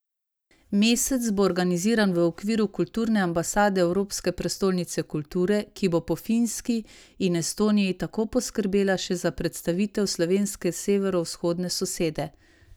Mesec bo organiziran v okviru Kulturne ambasade Evropske prestolnice kulture, ki bo po Finski in Estoniji tako poskrbela še za predstavitev slovenske severovzhodne sosede.